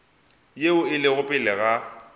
yeo e lego pele ga